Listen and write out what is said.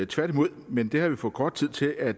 tværtimod men det har vi for kort tid til at